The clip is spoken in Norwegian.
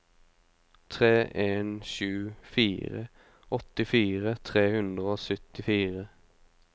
tre en sju fire åttifire tre hundre og syttifire